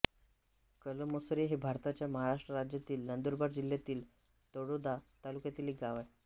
कलमसरे हे भारताच्या महाराष्ट्र राज्यातील नंदुरबार जिल्ह्यातील तळोदा तालुक्यातील एक गाव आहे